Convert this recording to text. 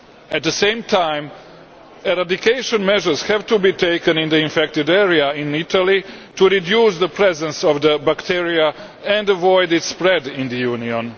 At the same time, eradication measures have to be taken in the infected area in Italy to reduce the presence of the bacterium and prevent its spread in the Union.